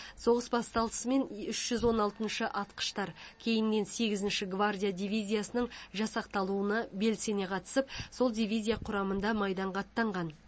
соғыс басталысымен үш жүз он алтыншы атқыштар кейіннен сегізінші гвардия дивизиясының жасақталуына белсене қатысып сол дивизия құрамында майданға аттанған